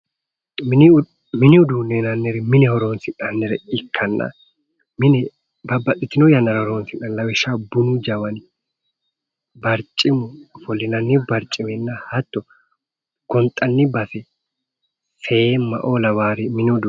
Mini uduunne yinannniri mine horonsi'nannire ikkanna mine babbaxxitin yannara horonsi'nanni lawishshaaho bunu jawani barcimu ofollinanni barciminna hattono gonxanni base seemma"oo lawaaari mini uduunneti